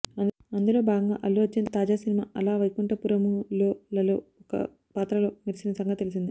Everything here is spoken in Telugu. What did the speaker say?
అందులో భాగంగా అల్లు అర్జున్ తాజా సినిమా అల వైకుంఠపురములోలలో ఓ పాత్రలో మెరిసిన సంగతి తెలిసిందే